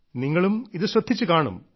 നിങ്ങളും ഇത് ശ്രദ്ധിച്ചു കാണും